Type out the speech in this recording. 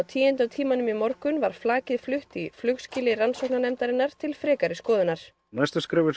tíunda tímanum í morgun var flakið flutt í flugskýli rannsóknarnefndarinnar til frekari